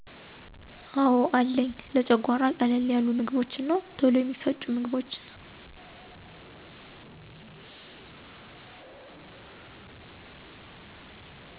አዎ አለኝ , ለጨጓራ ቀለል ያሉ ምግቦች እና ቶሎ የሚፈጩ ምግቦችን